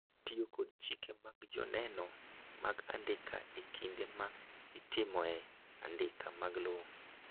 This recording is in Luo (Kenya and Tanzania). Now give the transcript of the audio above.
Tiyo kod chike mag joneno mag andika e kinde ma itimo eandika mar lowo